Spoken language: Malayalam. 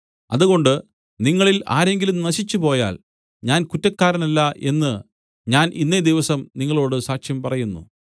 അതുകൊണ്ട് നിങ്ങളിൽ ആരെങ്കിലും നശിച്ചുപോയാൽ ഞാൻ കുറ്റക്കാരനല്ല എന്ന് ഞാൻ ഇന്നേ ദിവസം നിങ്ങളോടു സാക്ഷ്യം പറയുന്നു